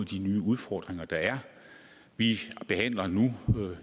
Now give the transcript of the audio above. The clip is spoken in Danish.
de nye udfordringer der er vi behandler nu